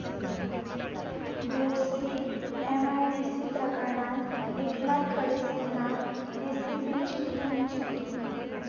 Bhosari MIDC प्रकरणात एकनाथ खडसेंना एसीबीची क्लीन चिट